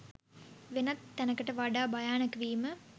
වෙනත් තැනකට වඩා භයානක වීම